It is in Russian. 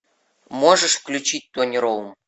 можешь включить тони роум